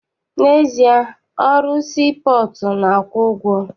N'ezie, ọrụ sii pọọtụ na-akwụ ụgwọ.